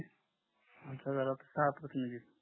आमच्या घरात सहा प्रतिनिधि